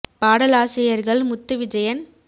பாடலாசிரியர்கள் Muthuvijayan